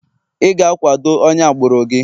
ị ga-akwado onye agbụrụ gị